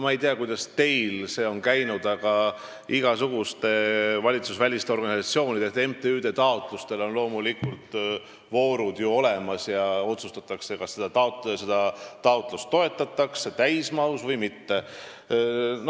Ma ei tea, kuidas teil see on käinud, aga igasugustele valitsusvälistele organisatsioonidele ja MTÜ-dele on loomulikult taotlusvoorud olemas ja otsustatakse, kas toetust antakse täismahus või mitte.